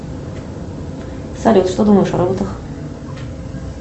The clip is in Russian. салют что думаешь о роботах